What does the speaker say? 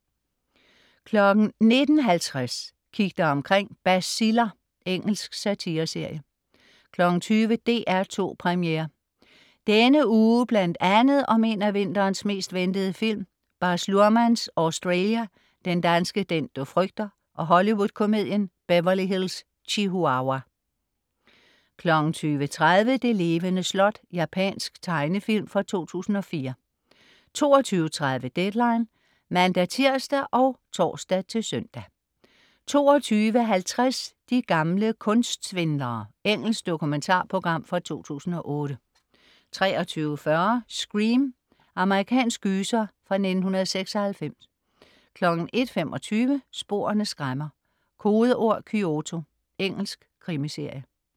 19.50 Kig dig omkring: Baciller. Engelsk satireserie 20.00 DR2 Premiere. Denne uge bl.a. om en af vinterens mest ventede film, Baz Luhrmans "Australia", den danske "Den du frygter" og Hollywood-komedien "Beverly Hills Chihuahua" 20.30 Det levende slot. Japansk tegnefilm fra 2004 22.30 Deadline (man-tirs og tors-søn) 22.50 De gamle kunstsvindlere. Engelsk dokumentarprogram fra 2008 23.40 Scream. Amerikansk gyser fra 1996 01.25 Sporene skræmmer: Kodeord Kyoto. Engelsk krimiserie